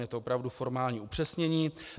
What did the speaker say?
Je to opravdu formální upřesnění.